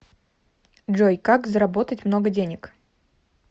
джой как заработать много денег